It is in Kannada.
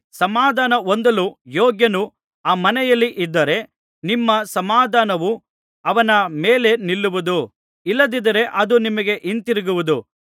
ಸಮಾಧಾನ ಹೊಂದಲು ಯೋಗ್ಯನು ಆ ಮನೆಯಲ್ಲಿ ಇದ್ದರೆ ನಿಮ್ಮ ಸಮಾಧಾನವು ಅವನ ಮೇಲೆ ನಿಲ್ಲುವುದು ಇಲ್ಲದಿದ್ದರೆ ಅದು ನಿಮಗೆ ಹಿಂತಿರುಗುವುದು